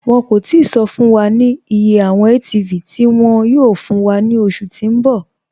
Wọn kò tìí sọ̀ fún wà iye awọn ATV tí wọn yóò fún wà ni oṣù tí n bọ̀.